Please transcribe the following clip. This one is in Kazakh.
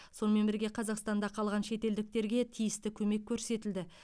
сонымен бірге қазақстанда қалған шетелдіктерге тиісті көмек көрсетілді